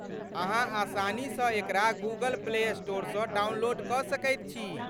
अहाँ आसानीसँ एकरा गूगल प्ले स्टोरसँ डाउनलोड कऽ सकैत छी।